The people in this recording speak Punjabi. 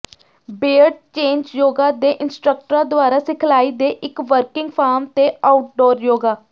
ਬੇਅਡ ਚੇਂਜ ਜੋਗਾ ਦੇ ਇੰਸਟ੍ਰਕਟਰਾਂ ਦੁਆਰਾ ਸਿਖਲਾਈ ਦੇ ਇੱਕ ਵਰਕਿੰਗ ਫਾਰਮ ਤੇ ਆਊਟਡੋਰ ਯੋਗਾ